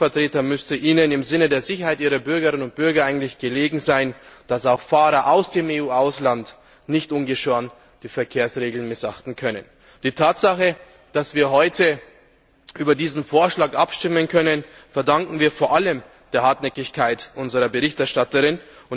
Als Volksvertreter müsste Ihnen im Sinne der Sicherheit Ihrer Bürgerinnen und Bürger eigentlich daran gelegen sein, dass auch Fahrer aus Nicht Mitgliedstaaten die Verkehrsregeln nicht ungeschoren missachten können. Die Tatsache, dass wir morgen über diesen Vorschlag abstimmen können, verdanken wir vor allem der Hartnäckigkeit unserer Berichterstatterin.